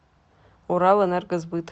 уралэнергосбыт